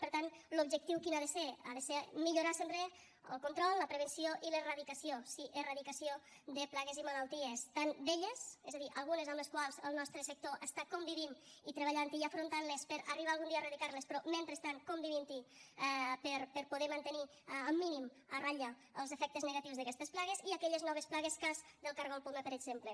per tant l’objectiu quin ha de ser ha de ser millorar sempre el control la prevenció i l’erradicació sí erradicació de plagues i malalties tant velles és a dir algunes amb les quals el nostre sector està convivint i treballant hi i afrontant les per arribar algun dia a erradicar les però mentrestant convivint hi per poder mantenir al mínim a ratlla els efectes negatius d’aquestes plagues i aquelles noves plagues cas del cargol poma per exemple